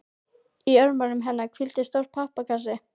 Í örmum hennar hvíldi stór pappakassi.